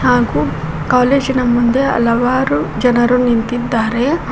ಹಾಗು ಕಾಲೇಜಿನ ಮುಂದೆ ಹಲವಾರು ಜನರು ನಿಂತಿದ್ದಾರೆ.